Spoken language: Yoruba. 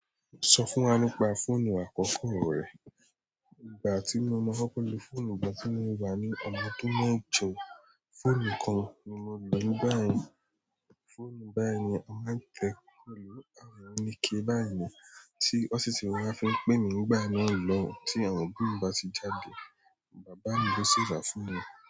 Sọ fún wa nípa fóònù àkọ́kọ́ rẹ. Ìgbà ti mo maa kọ́kọ́ lo fóònù, igbatí mo wa ni ọmọ ọdún mẹ́jọ. Fóònù kan ni mo lò nígbà yẹn. Fóònù báyìí ni a máa ń tẹ̀, mò lò àwọn òníkè báyìí ni. Tí ó sì ti wá fì wàn fì ń pẹ́èmì nígbà náà lọùn. Tí àwọn òbì mì bá ti jádè, bàbá mi ló ṣí rà fún mi.